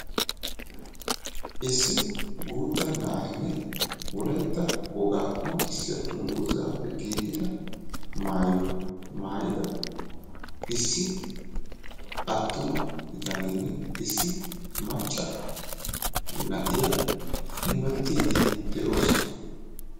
Issi guutta na'aynne wolaytta wogga qoncissiyaa dungguzzappe giigidda maayuwaa mayidda issi attuma bitanenne issi macca na'iyaa hemettidi deosona.